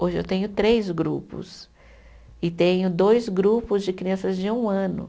Hoje eu tenho três grupos e tenho dois grupos de crianças de um ano.